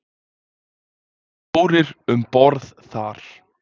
Fjórir um borð þar.